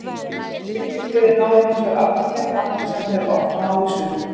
Fylkis liðið náði hinsvegar aldrei þeim dampi sem það hefur oft náð í sumar.